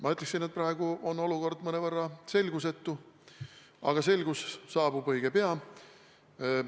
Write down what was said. Ma ütleksin, et praegu on olukord mõnevõrra selgusetu, aga selgus saabub õige pea.